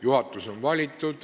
Juhatus on valitud.